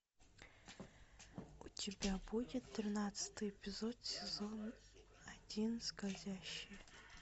у тебя будет тринадцатый эпизод сезон один скользящие